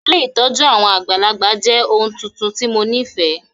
Ilé ìtójú àwon àgbàlagbà jẹ oun tuntun ti mo nifẹ.